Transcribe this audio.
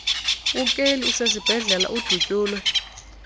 ukeli usesibhedlele udutyulwe